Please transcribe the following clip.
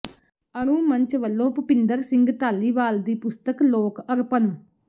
ਅਣੂ ਮੰਚ ਵੱਲੋਂ ਭੁਪਿੰਦਰ ਸਿੰਘ ਧਾਲੀਵਾਲ ਦੀ ਪੁਸਤਕ ਲੋਕ ਅਰਪਣ